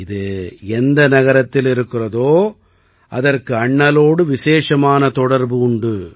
இது எந்த நகரத்தில் இருக்கிறதோ அதற்கு அண்ணலோடு விசேஷமான தொடர்பு உண்டு